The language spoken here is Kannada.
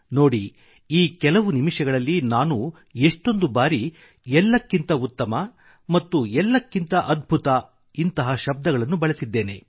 ನೋಡಿ ಈ ಕೆಲವು ನಿಮಿಷಗಳಲ್ಲಿ ನಾನು ಎಷ್ಟೊಂದು ಬಾರಿ ಎಲ್ಲಕ್ಕಿಂತ ಉತ್ತಮ ಮತ್ತು ಎಲ್ಲಕ್ಕಿಂತ ಅದ್ಭುತವಾದ ಶಬ್ದಗಳನ್ನು ಬಳಸಿದ್ದೇನೆ